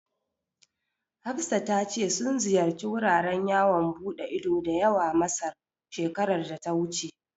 Hafsa ta ce sun ziyarci wuraren yawan buɗe ido da yawa Masar, shekarar da ta wuce.